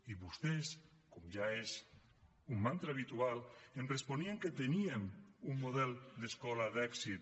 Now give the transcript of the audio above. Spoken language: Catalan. i vostès com ja és un mantra habitual em responien que teníem un model d’escola d’èxit